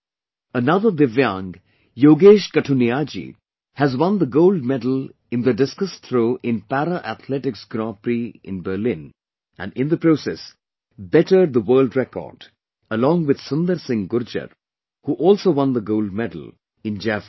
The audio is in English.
Another Divyang, Yogesh Qathuniaji, has won the gold medal in the discus throw in Para Athletics Grand Prix in Berlin and in the process bettered the world record, along with Sundar Singh Gurjar who also won the gold medal in javelin